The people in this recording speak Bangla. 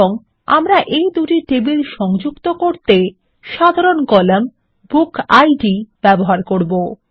এবং আমরা এই দুই টেবিল সংযুক্ত করতে সাধারণ কলাম বুকিড ব্যবহার করবো